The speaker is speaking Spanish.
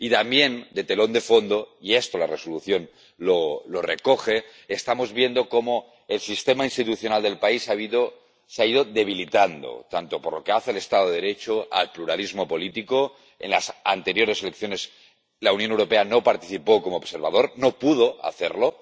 Y también, de telón de fondo —y esto la Resolución lo recoge—, estamos viendo cómo el sistema institucional del país se ha ido debilitando, tanto por lo que se refiere al Estado de Derecho como al pluralismo político en las anteriores elecciones la Unión Europea no participó como observador, no pudo hacerlo